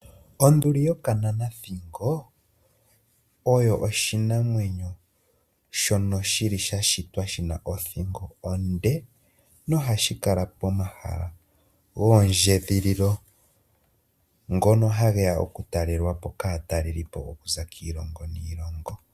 Onduli yokananathingo, oyo oshinamwenyo shono sha shitwa shi na othingo onde noha shi kala pomahala goondjedhililo ngono ha geya okutalelwapo kaatalelipo okuza kiilongo niilongo.